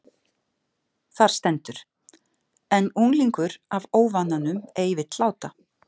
Þar stendur: En unglingur af óvananum ei vill láta